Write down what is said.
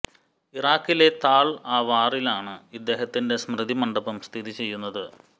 ഇറാക്കിലെ താൾ ആവാറിലാണ് ഇദ്ദേഹത്തിൻറെ സ്മൃതി മണ്ഡപം സ്ഥിതി ചെയ്യുന്നത്